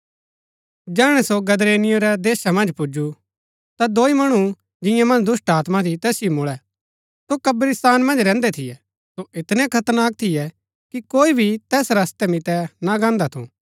जैहणै सो गदरेनियो रै देशा मन्ज पुजु ता दोई मणु जिंआ मन्ज दुष्‍टात्मा थी तैसिओ मुळै सो कब्रिस्तान मन्ज रैहन्दै थियै सो ऐतनै खतरनाक थियै कि कोई भी तैस रस्तै मितै ना गान्दा थु